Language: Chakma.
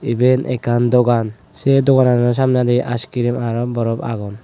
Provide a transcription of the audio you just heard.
eben ekkan dogan sey doganano samnedi aaiskirim aro borop agon.